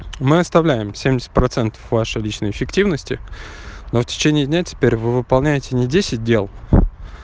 мы оставляем семьдесят процентов вашей личной эффективности но в течении дня теперь вы выполняйте не десять дел